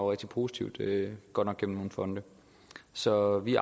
rigtig positivt godt nok gennem nogle fonde så vi